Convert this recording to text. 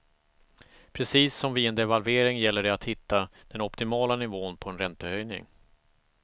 Precis som vid en devalvering gäller det att hitta den optimala nivån på en räntehöjning.